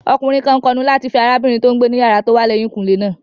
Ọkùnrin kan kọnu láti fẹ́ arábìnrin tó n gbé ní yàrá tó wà lẹ́yìn kùnlé náà